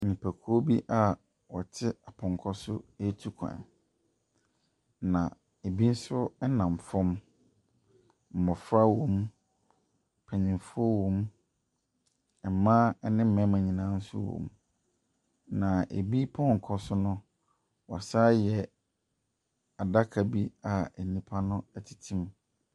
Nipakuo bi a wɔte pɔnkɔ so etukwan. Na ebi nso ɛnam fam. Mmɔfra wɔ mu, mpanyinfoɔ wɔ mu, mmaa ɛne mmarima nyinaa nso wɔ mu. Na ebi pɔnkɔ so no, wasanayɛ adaka bi a enipa no ɛtete mu.